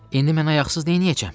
İndi mən ayaqsız nəyəcəm?